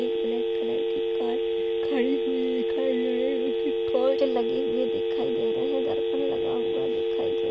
एक black colour की car खड़ी हुई दिखाई दे रही उसके कांच लगे हुए दिखाई दे रहे हैं। दर्पण लगा हुआ दिखाई दे --